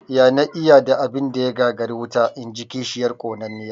"Ya na iya da abin da ya gagari wuta?", inji kishiyar ƙonanniya